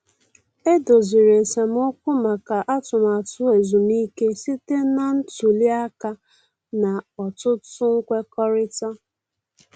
E doziri esemokwu maka atụmatụ ezumike site na ntuli aka na ọtụtụ nkwekọrịta.